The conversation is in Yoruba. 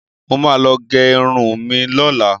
Mo ma lọ gẹrun mi lọ́la